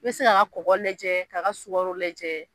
I bɛ se k'a ka kɔkɔ lajɛ, k'a ka sukɔro lajɛ